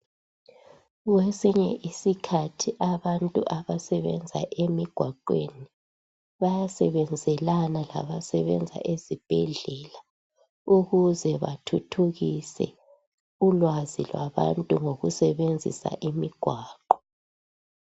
kwesinye isikhathi abantu abasebenza emigwaqweni bayasebenzelana labantu abasebenza esibhedlela ukuze bathuthukise ulwazi lwabantu ngokusebenzisa imigwaqo